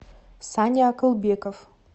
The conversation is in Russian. саня акылбеков